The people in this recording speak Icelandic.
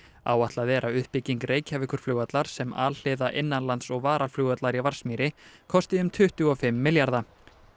áætlað er að uppbygging Reykjavíkurflugvallar sem alhliða innanlands og varaflugvallar í Vatnsmýri kosti um tuttugu og fimm milljarða